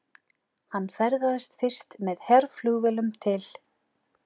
Hann ferðaðist fyrst með herflugvélum til